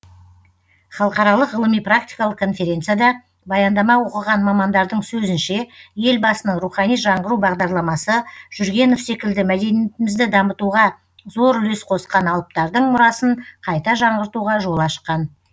халықаралық ғылыми практикалық конференцияда баяндама оқыған мамандардың сөзінше елбасының рухани жаңғыру бағдарламасы жүргенов секілді мәдениетімізді дамытуға зор үлес қосқан алыптардың мұрасын қайта жаңғыртуға жол ашқан